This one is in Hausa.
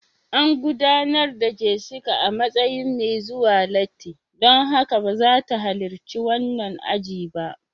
An gudanar da Jessica a matsayin mai zuwa latti, don haka ba za ta halarci wannan aji ba